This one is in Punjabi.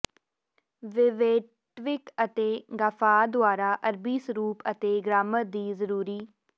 ਵਿਵੇਟਵਿਕ ਅਤੇ ਗਾਫਾਰ ਦੁਆਰਾ ਅਰਬੀ ਸਰੂਪ ਅਤੇ ਗ੍ਰਾਮਰ ਦੀ ਜ਼ਰੂਰੀ